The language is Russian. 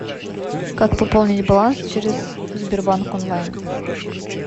как пополнить баланс через сбербанк онлайн